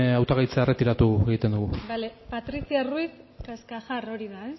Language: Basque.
hautagaitza erretiratu egiten dugu bale patricia ruiz cascajar hori da